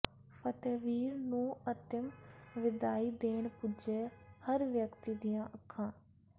ਫਤਿਹਵੀਰ ਨੂੰ ਅਤਿਮ ਵਿਦਾਈ ਦੇਣ ਪੁੱਜੇ ਹਰ ਵਿਅਕਤੀ ਦੀਆਂ ਅੱਖਾਂ